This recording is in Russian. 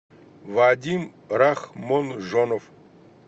вадим рахмонжонов